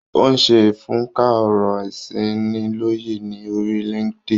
Ó ń ṣe ìfúnká ọ̀rọ̀-ìṣị́nilọ́yẹ̀ ní orí LinkedIn.